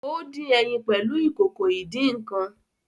O din ẹyin pẹlu Ìkòkò ìdín-nǹkan